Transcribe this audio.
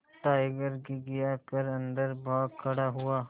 tiger घिघिया कर अन्दर भाग खड़ा हुआ